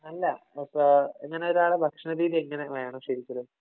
അല്ല. ഇപ്പോ എങ്ങനെ ഒരാളുടെ ഭക്ഷണരീതി എങ്ങനെ വേണം ശരിക്കലും.